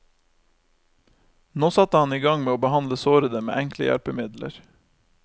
Nå satte han i gang med å behandle sårede med enkle hjelpemidler.